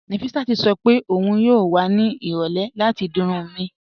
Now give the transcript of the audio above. Nọfisát sọ pé ọun yóò wà ní irọ̀lẹ̀ láti di irùn mí